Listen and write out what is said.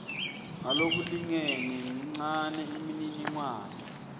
ngalokulingene mincane imininingwane